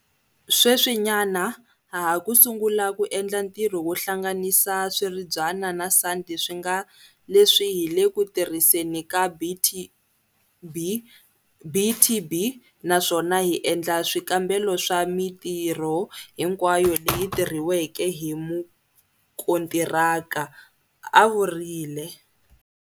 Sweswinyana ha ha ku sungula ku endla ntirho wo hlanganisa swiribyana na sandi swi nga leswi hi le ku tirhiseni ka BTB naswona hi endla swikambelo swa mitirho hinkwayo leyi tirhiweke hi mukontiraka,'a vurile.